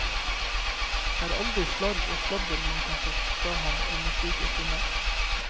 Det er aldri slarv og sladder man kan få fra ham under slike stunder.